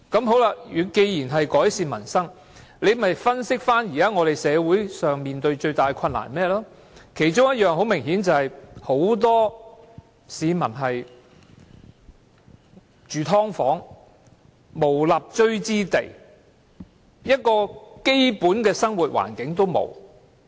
好了，既然是要改善民生，那麼大可分析現時社會所面對最大的困難是甚麼，其中很明顯的一點就是很多市民現時要住"劏房"，無立錐之地，連基本的生活環境也沒有。